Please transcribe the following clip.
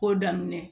Ko daminɛ